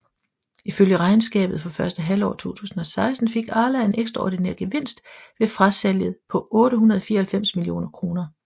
Ifølge regnskabet for første halvår 2016 fik Arla en ekstraordinær gevinst ved frasalget på 894 millioner kroner